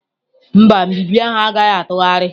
Mba, nbibi ahụ agaghị atụgharị.